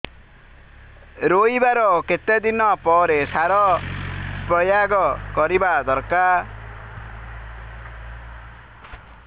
ରୋଈବା ର କେତେ ଦିନ ପରେ ସାର ପ୍ରୋୟାଗ କରିବା ଦରକାର